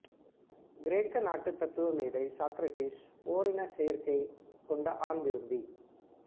கிரேக்க நாட்டு தத்துவமேதை சாக்ரடீஸ் ஓரினச் சேர்க்கை கொண்ட ஆண் விரும்பி